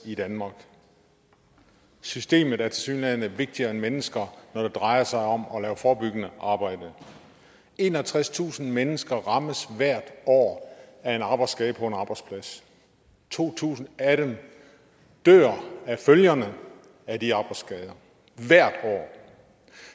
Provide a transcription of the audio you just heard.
i danmark systemet er tilsyneladende vigtigere end mennesker når det drejer sig om at lave forebyggende arbejde enogtredstusind mennesker rammes hvert år af en arbejdsskade på en arbejdsplads to tusind af dem dør af følgerne af de arbejdsskader hvert år